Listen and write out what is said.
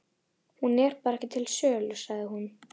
Hún er bara ekki til sölu, sagði hún.